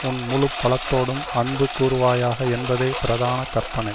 உன் முழு பலத்தோடும் அன்பு கூருவாயாக என்பதே பிரதான கற்பனை